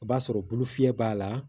O b'a sɔrɔ bolo fiyɛ b'a la